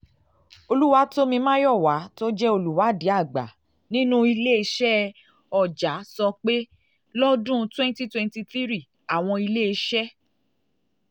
oluwatomi um mayowa tó jẹ́ olùwádìí àgbà nínú um ile-iṣẹ ọja ọja sọ pé lọ́dún 2023 àwọn iléeṣẹ́